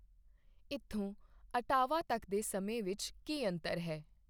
ਇੱਥੋਂ ਓਟਾਵਾ ਤੱਕ ਦੇ ਸਮੇਂ ਵਿੱਚ ਕੀ ਅੰਤਰ ਹੈ?